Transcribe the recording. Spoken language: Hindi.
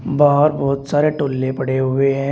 बाहर बहुत सारे टोल्ले पड़े हुए हैं।